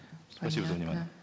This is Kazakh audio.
спасибо за внимание